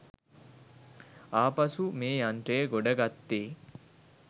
ආපසු මේ යන්ත්‍රය ගොඩගත්තෙ